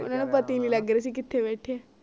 ਲਗ ਰਿਹਾ ਸੀ ਕੀਤੇ ਬੈਠੇ